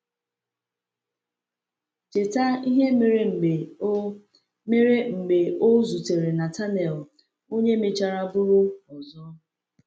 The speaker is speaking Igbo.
Cheta ihe mere mgbe o mere mgbe o zutere Natanael, onye mechara bụrụ ọzọ.